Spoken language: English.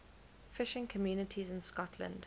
fishing communities in scotland